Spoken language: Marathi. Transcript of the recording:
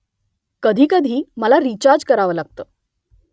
कधीकधी मला रिचार्ज करावं लागतं